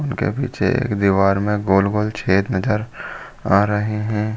उनके पीछे एक दीवार में गोल -गोल छॆद नजर आ रहे हैं ।